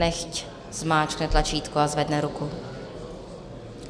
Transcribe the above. Nechť zmáčkne tlačítko a zvedne ruku.